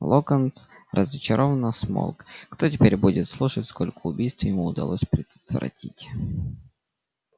локонс разочарованно смолк кто теперь будет слушать сколько убийств ему удалось предотвратить